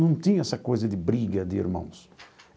Não tinha essa coisa de briga de irmãos.